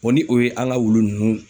ni o ye an ka wulu ninnu